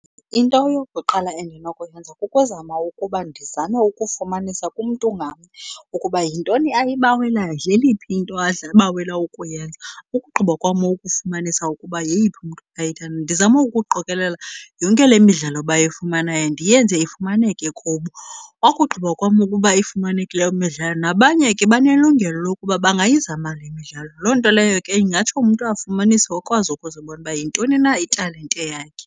Into eyokuqala endinokuyenza kukuzama ukuba ndizame ukufumanisa kumntu ngamnye ukuba yintoni ayibawelayo, yeliphi into abawela ukuyenza. Ukugqiba kwam ukufumanisa ukuba yeyiphi umntu ndizame ukuqokelela yonke le midlalo bayifumanayo, ndiyenze ifumaneke kubo. Okugqiba kwam ukuba ifumaneke loo midlalo, nabanye ke banelungelo lokuba bangayizama le midlalo. Loo nto leyo ke ingatsho umntu afumanise akwazi ukuzibona uba yintoni na italente yakhe.